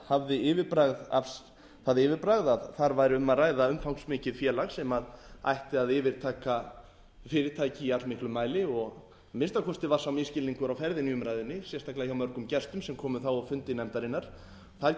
það frumvarp hafði það yfirbragð að þar væri um að ræða umfangsmikið félag sem ætti að yfirtaka fyrirtæki í allmiklum mæli að minnsta kosti var sá misskilningur á ferðinni í umræðunni sérstaklega hjá mörgum gestum sem komu þá á fundi nefndarinnar þar getum